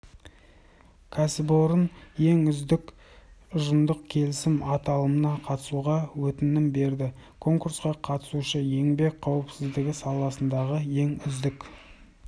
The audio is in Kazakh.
кәсіпорын ең үздік ұжымдық келісім аталымына қатысуға өтінім берді конкурсқа қатысушы еңбек қауіпсіздігі саласындағы ең үздік